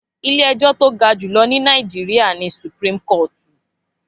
Ilé ẹjọ́ tó ga jùlọ ní Nàìjíríyà ni Supreme kọ́ọ̀tù